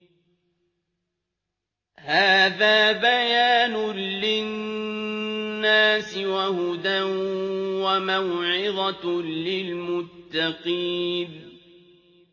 هَٰذَا بَيَانٌ لِّلنَّاسِ وَهُدًى وَمَوْعِظَةٌ لِّلْمُتَّقِينَ